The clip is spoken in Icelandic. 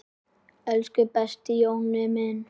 Elsku besti Jonni minn.